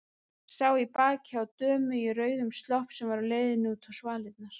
Sá í bakið á dömu í rauðum slopp sem var á leiðinni út á svalirnar.